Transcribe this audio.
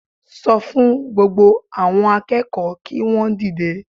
Sọ fún gbogbo àwọn akẹ́kọ̀ọ́ kí wọn dìde